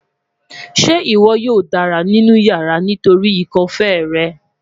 Ṣe iwọ yoo dara ninu yara nitori ikọ-fèé rẹ?